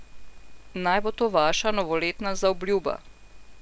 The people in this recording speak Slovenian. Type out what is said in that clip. Naj bo to vaša novoletna zaobljuba!